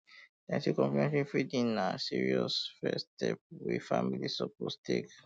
dem say complementary feeding na serious um first um step wey family suppose um take